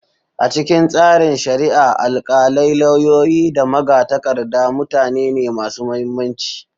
A cikin tsarin shari'a, alkalai, lauyoyi, da magatakarda mutane ne masu mahimmanci.